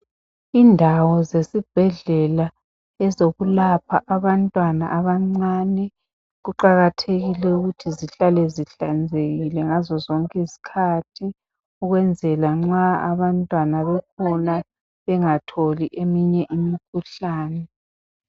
Indawo zesibhedlela ezokulapha abantwana abancane kuqakathekile ukuthi zihlale zihlanzekile ngazozonke izikhathi, ukwenzela nxa abantwana bekhona bengatholi eminye imikhuhlane.